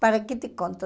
Para que te conto?